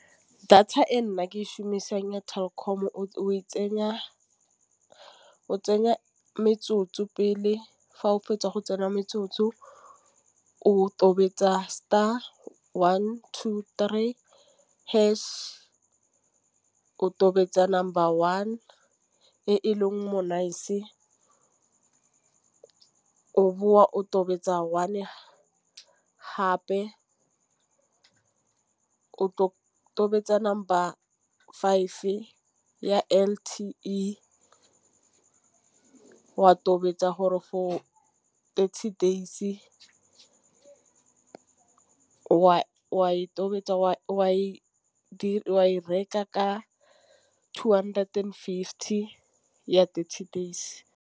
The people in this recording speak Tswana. Data e nna ke e šhomisang ya Telkom-o e tsenya o tsenya metsotso pele, fa o fetsa go tsenya metsotso o tobetsa star one to three hash. O tobetsa number one e leng monice o boa o tobetsa one hape o tobetsa number ba five ya L_T_E wa tobetsa gore for thirty days wa e tobetsa wa e reka ka two hundred and fifty ya thirty days.